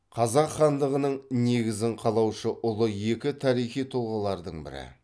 қазақ хандығының негізін қалаушы ұлы екі тарихи тұлғалардың бірі